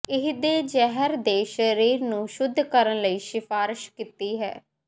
ਇਹ ਦੇਜ਼ਿਹਰ ਦੇ ਸਰੀਰ ਨੂੰ ਸ਼ੁੱਧ ਕਰਨ ਲਈ ਸਿਫਾਰਸ਼ ਕੀਤੀ ਹੈ